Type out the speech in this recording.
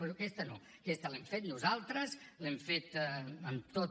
però aquesta no aquesta l’hem fet nosaltres l’hem fet amb tot